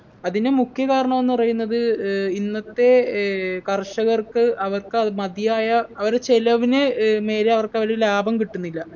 അതിനു മുഖ്യ കാരണോന്ന് പറയുന്നത് ഏർ ഇന്നത്തെ ഏർ കർഷകർക്ക് അവർക്ക് അഹ് മതിയായ അവരെ ചെലവിന് ഏർ മേലെ അവർക്കതില് ലാഭം കിട്ടുന്നില്ല